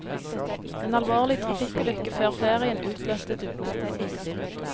En alvorlig trafikkulykke før ferien utløste dugnaden.